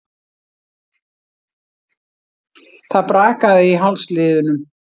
Það brakaði í hálsliðunum.